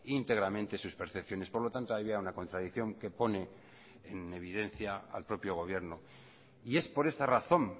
íntegramente sus percepciones por lo tanto había una contradicción que pone en evidencia al propio gobierno y es por esta razón